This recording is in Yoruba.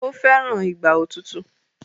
o feran Ìgbà òtútù.